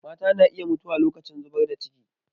Mata na iya mutuwa lokacin zubar da ciki.